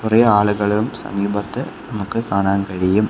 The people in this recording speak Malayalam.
കുറെ ആളുകളും സമീപത്ത് നമുക്ക് കാണാൻ കഴിയും.